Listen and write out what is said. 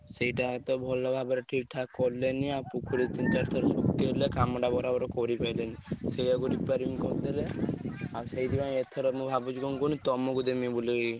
ସେଇଟା ତ ଭଲ ଭାବରେ ଠିକ୍ ଠାକ୍ କଲେନି ଆଉ ପୋଖରୀ ତିନି ଚାରି ଥର ଶୁଖିଗଲା କାମ ଟା ବରାବର କରିପାଇଲେନି ସେଇଆକୁ repairing କରିଦେଲେ ଆଉ ସେଇଥି ପାଇଁ ଏଥର ମୁଁ କଣ ଭାବୁଛି କହିଲୁ ତମକୁ ଦେମି ବୋଲି କି।